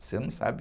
Você não sabe.